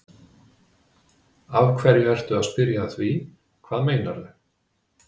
Af hverju ertu að spyrja að því. hvað meinarðu?